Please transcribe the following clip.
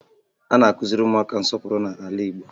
A na-akụziri ụmụaka nsọpụrụ n'ala Igbo